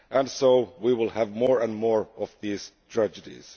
So we will have more and more of these tragedies.